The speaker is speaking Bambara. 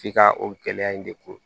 F'i ka o gɛlɛya in de ko